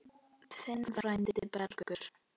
Þinn frændi, Bergur.